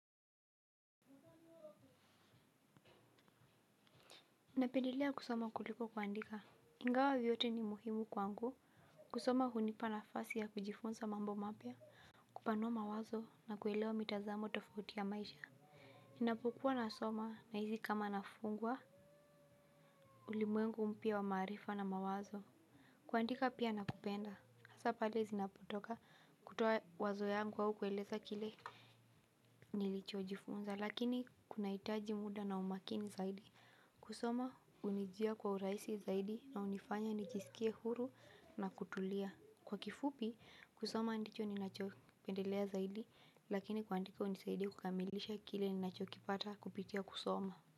Napendelea kusoma kuliko kuandika, ingawa vyote ni muhimu kwangu. Kusoma hunipa nafasi ya kijifunza mambo mapya. Kupanua mawazo, na kuelewa mitazamo tofauti ya maisha. Ninapokuwa nasoma, nahisi kama nafungua ulimwengu mpya wa maarifa na mawazo. Kuandika pia nakupenda, hasa pale zinapotoka kutoa wazo yangu au kueleza kile nilichojifunza, lakini kunahitaji muda na umakini zaidi. Kusoma hunijia kwa urahisi zaidi na hunifanya nijisikie huru na kutulia. Kwa kifupi kusoma ndicho ninachopendelea zaidi lakini kuandika hunisaidi kukamilisha kile ninachopipata kupitia kusoma.